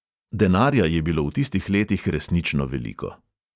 Denarja je bilo v tistih letih resnično veliko.